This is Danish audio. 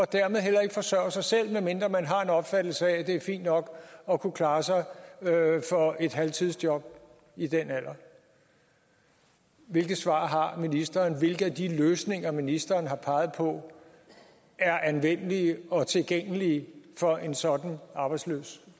dermed heller ikke forsørge sig selv medmindre man har en opfattelse af at det er fint nok at kunne klare sig for et halvtidsjob i den alder hvilket svar har ministeren hvilke af de løsninger ministeren har peget på er anvendelige og tilgængelige for en sådan arbejdsløs